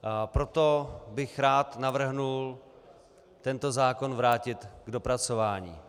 Proto bych rád navrhl tento zákon vrátit k dopracování.